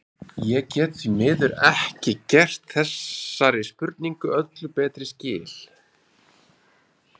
Ég get því miður ekki gert þessari spurningu öllu betri skil.